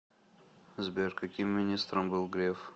сбер каким министром был греф